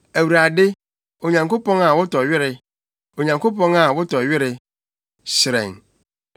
Awurade, Onyankopɔn a wotɔ were, Onyankopɔn a wotɔ were, hyerɛn.